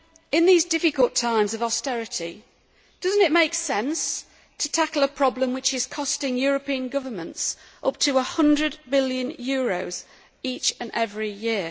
In these difficult times of austerity, does it not make sense to tackle a problem which is costing European governments up to EUR 100 billion each and every year?